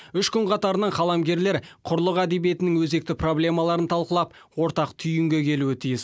үш күн қатарынан қаламгерлер құрлық әдебиетінің өзекті проблемаларын талқылап ортақ түйінге келуі тиіс